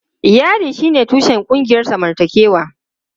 Iyali shine tushen ƙungiyar zamantakewa.